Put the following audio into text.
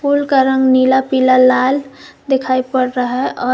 फूल का रंग नीला पीला लाल दिखाई पड़ रहा है और--